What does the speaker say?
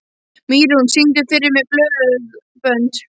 Mýrún, syngdu fyrir mig „Blóðbönd“.